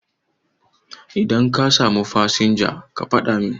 Idan ka samu fasinja ka faɗa min